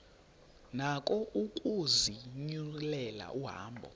nako ukuzinyulela ihambo